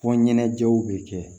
Fɔ ɲɛnajɛw bɛ kɛ